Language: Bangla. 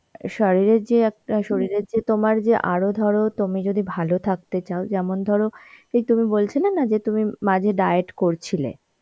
শারীরের যে একটা শরীরের যে তোমার যে আরো ধরো তুমি যদি ভালো থাকতে চাও যেমন ধরো এই তুমি বলছিলে না যে তুমি মাঝে diet করছিলে